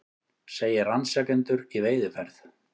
Segir rannsakendur í veiðiferð